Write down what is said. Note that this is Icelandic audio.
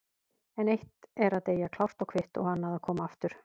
En eitt er að deyja klárt og kvitt og annað að koma aftur.